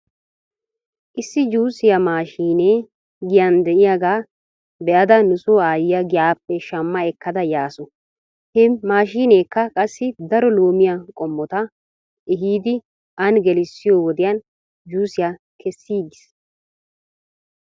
Issi juusiyaa maashinee giyan de'iyaagaa be'ada nuso aayyiyaa giyaappe shamma ekkada yaasu he maashiineekka qassi daro loomiyaa qommota ehiidi an gelissiyoo wodiyan juusiyaa kesiiges.